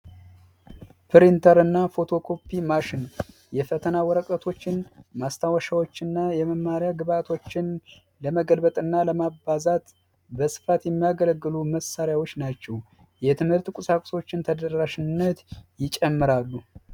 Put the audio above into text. ፕሪንተርና ፎቶ ኮፒ ማሽን የፈተና ወረቀቶችን ማስታወሻዎችና የመማሪያ ግብዓቶችን ለመገልበጥና ለማባዛት በስፋት ይገለገሉ መሳሪያዎች ናቸው የትምህርት ቁሳቁሶችን ተደራሽነት ይጨምራሉ